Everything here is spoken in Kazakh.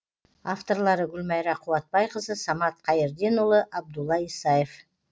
авторлары гүлмайра қуатбайқызы самат қайірденұлы абдулла исаев